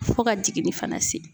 Fo ka jiginni fana se